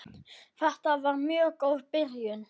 Þetta var mjög góð byrjun.